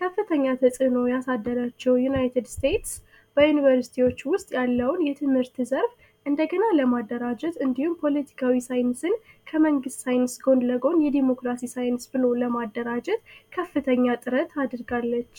ከፍተኛ ተፅዕኖ ያሳደረችው ዩናይትድ ስቴት ዩንቨርስቲዎች ውስጥ ያለውን ትምህርት እንደገና ለማደራጀት እንደዚሁም ፖለቲካዊ ሳይንስን ጐን ለጐን ለማደራጀት ከፍተኛ ጥረት አድርጋለች።